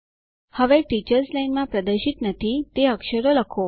હવે teachers line માં પ્રદર્શિત નથી તે અક્ષરો લખો